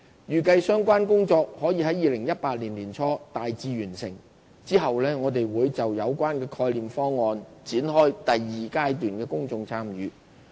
預計相關工作可於2018年年初大致完成，之後我們會就有關的概念方案展開第二階段公眾參與。